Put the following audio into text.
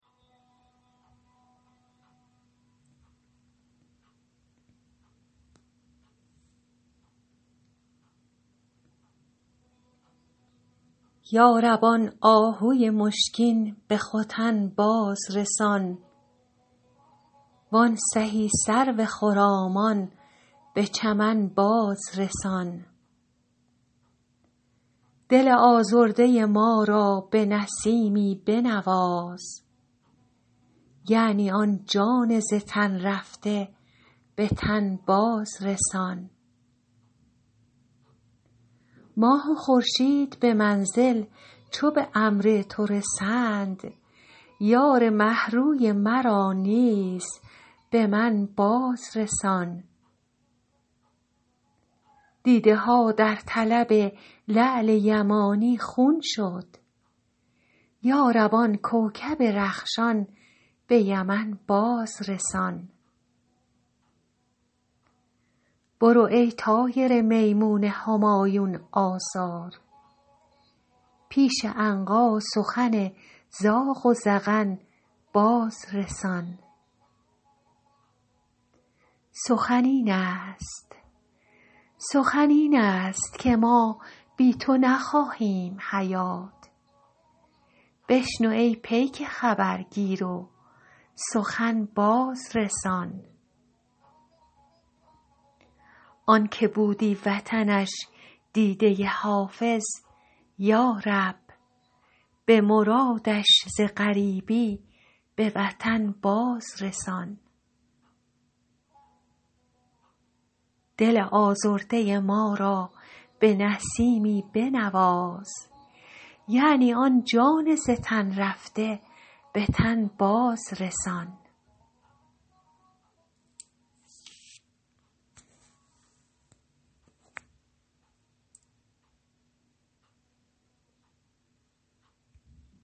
یا رب آن آهوی مشکین به ختن باز رسان وان سهی سرو خرامان به چمن باز رسان دل آزرده ما را به نسیمی بنواز یعنی آن جان ز تن رفته به تن باز رسان ماه و خورشید به منزل چو به امر تو رسند یار مه روی مرا نیز به من باز رسان دیده ها در طلب لعل یمانی خون شد یا رب آن کوکب رخشان به یمن باز رسان برو ای طایر میمون همایون آثار پیش عنقا سخن زاغ و زغن باز رسان سخن این است که ما بی تو نخواهیم حیات بشنو ای پیک خبرگیر و سخن باز رسان آن که بودی وطنش دیده حافظ یا رب به مرادش ز غریبی به وطن باز رسان